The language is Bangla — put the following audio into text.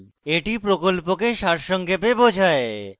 এটি প্রকল্পকে সারসংক্ষেপে বোঝায়